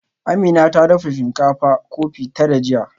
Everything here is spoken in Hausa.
Amina ta dafa shinkafa kofi tara jiya